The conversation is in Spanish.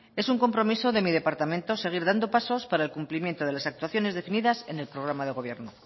es un compromiso de mi departamento seguir dando pasos para el cumplimiento de las actuaciones definidas en el programa de gobierno